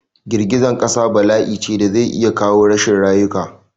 Girgizan ƙasa bala'ice da zai iya kawo rashin rayuka